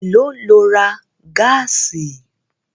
Èló lo ra gáàsì?